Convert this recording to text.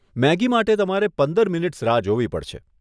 Maggi માટે તમારે પંદર મિનીટ્સ રાહ જોવી પડશે.